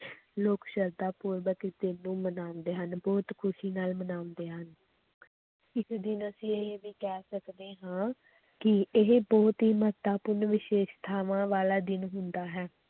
ਲੋਕ ਸਰਧਾ ਪੂਰਵਕ ਮਨਾਉਂਦੇ ਹਨ, ਬਹੁਤ ਖ਼ੁਸ਼ੀ ਨਾਲ ਮਨਾਉਂਦੇ ਹਨ ਇਸ ਦਿਨ ਅਸੀਂ ਇਹ ਵੀ ਕਹਿ ਸਕਦੇ ਹਾਂ ਕਿ ਇਹ ਬਹੁਤ ਹੀ ਮਹੱਤਵਪੂਰਨ ਵਿਸ਼ੈਸ਼ਤਾਵਾਂ ਵਾਲਾ ਦਿਨ ਹੁੰਦਾ ਹੈ